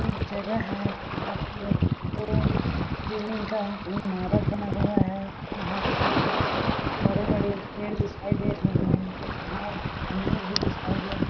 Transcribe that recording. एक जगह है जहाँ पे ये दो बिल्डिंग का इमारत बना हुआ है यहाँ पे बड़े-बड़े पेड़ दिखाई दे रही है यहाँ मंदिर भी दिखाई दे रहे--